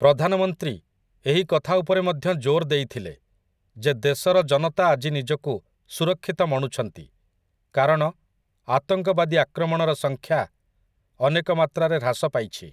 ପ୍ରଧାନମନ୍ତ୍ରୀ ଏହି କଥା ଉପରେ ମଧ୍ୟ ଜୋର ଦେିଥିଲେ ଯେ ଦେଶର ଜନତା ଆଜି ନିଜକୁ ସୁରକ୍ଷିତ ମଣୁଛନ୍ତି, କାରଣ ଆତଙ୍କବାଦୀ ଆକ୍ରମଣର ସଂଖ୍ୟା ଅନେକ ମାତ୍ରାରେ ହ୍ରାସ ପାଇଛି ।